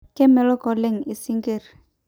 kemelok oleng ising'irr